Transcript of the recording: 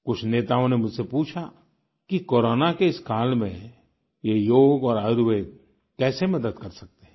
कुछ नेताओं ने मुझसे पूछा कि कोरोना के इस काल में ये योग और आयुर्वेद कैसे मदद कर सकते हैं